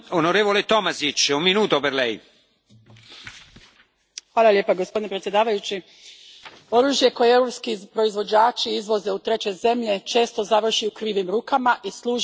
Gospodine predsjedniče, oružje koje europski proizvođači izvoze u treće zemlje često završi u krivim rukama i služi za počinjenje teških ratnih zločina i kršenja humanitarnog prava.